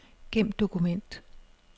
Gem dokument.